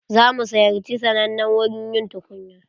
Za mu ziyarci sannanen wurin yin tukunya.